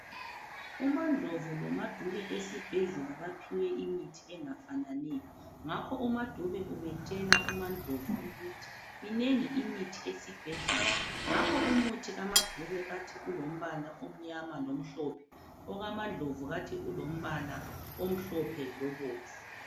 UmaNdlovu lomaDube esibhedlela baphiwe imithi engafananiyo ngakho umaDube ubetshela umaNdlovu ukuthi minengi imithi esibhedlela ngakho umuthi kamaDube bathi ulombala omnyama lomhlophe okamaNdlovu bathi ulombala omhlophe lobomvu.